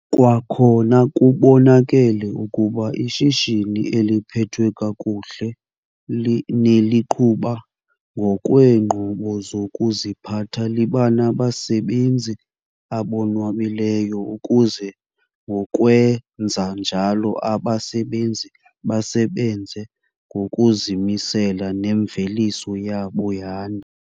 Kwakhona kubonakele ukuba ishishini eliphethwe kakuhle neliqhuba ngokweenqobo zokuziphatha liba nabasebenzi abonwabileyo ukuze ngokwenza njalo abasebenzi basebenze ngokuzimisela nemveliso yabo yande.